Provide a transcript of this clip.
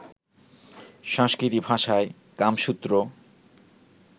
সংস্কৃত ভাষায় কামসূত্র